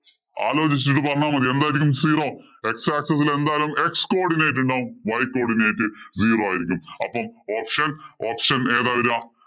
ആലോചിച്ചിട്ട് പറഞ്ഞാ മതി. zero. X axis ഇല് എന്തായാലും x coodinate ഉണ്ടാവും. Y codinate zero ആയിരിക്കും. അപ്പൊ option option ഏതാ വരിക?